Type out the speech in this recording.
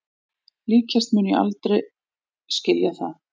Líklegast mun ég aldrei skilja það